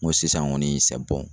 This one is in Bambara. N ko sisan kɔni